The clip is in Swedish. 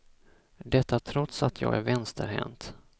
Detta trots att jag är vänsterhänt.